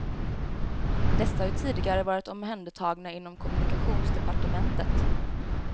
Dessa har ju tidigare varit omhändertagna inom kommunikationsdepartementet.